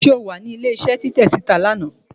se o wa ní ilé isé Titẹ sita ni anà?